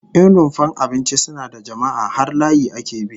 In rumfar abinci suna da jama'a, har layi ake bi